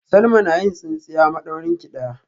Salma na yin tsintsiya madaurinki daya